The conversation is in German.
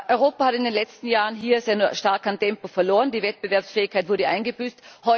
Europa hat in den letzten Jahren hier sehr stark an Tempo verloren, die Wettbewerbsfähigkeit wurde eingebüßt.